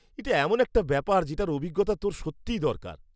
এটা এমন একটা ব্যাপার যেটার অভিজ্ঞতা তোর সত্যিই দরকার।